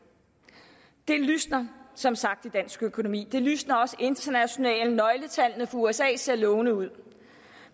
det lysner som sagt i dansk økonomi det lysner også internationalt nøgletallene for usa ser lovende ud